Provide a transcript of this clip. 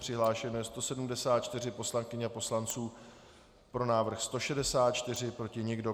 Přihlášeno je 174 poslankyň a poslanců, pro návrh 164, proti nikdo.